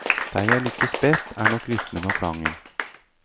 Der jeg lykkes best er nok rytmen og klangen.